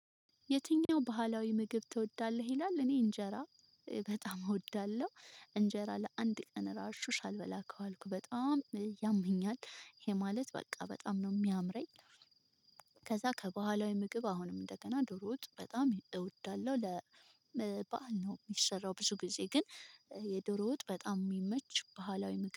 የትኛው ባህላዊ ምግብ ትወዳለህ? ይላል እኔ እንጀራ በጣም እወዳለሁ እንጀራ ለአንድ ቀን ራሱ ሳልበላ ከዋልኩ በጣም ያመኛል ይሄ ማለት በቃ በጣም ነው የሚያምረኝ። ከዛ ከባህላዊ ምግብ አሁንም እንደገና ድሮ ውጥ በጣም እወዳለሁ ለ በዓል ነው የሚሰራው ብዙ ጊዜ ግን የዶሮ ውጥ በጣም የሚመች ባህላዊ